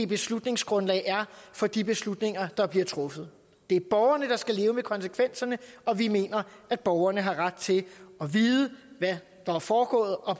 beslutningsgrundlag er for de beslutninger der bliver truffet det er borgerne der skal leve med konsekvenserne og vi mener at borgerne har ret til at vide hvad der er foregået og